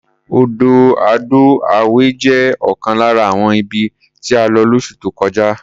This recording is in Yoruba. Odò Ado-Away jẹ́ ọ̀kan lára àwọn ibi tí a lọ lóṣù tó kọjá.